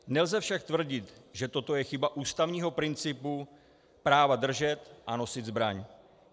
Nelze však tvrdit, že toto je chyba ústavního principu práva držet a nosit zbraň.